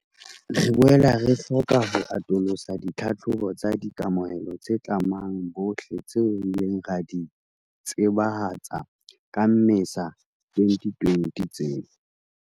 Re boela re hloka ho atolosa ditlhahlobo tsa di kamohelo tse tlamang bohle tseo re ileng ra di tsebahatsa ka Mmesa 2020 tseo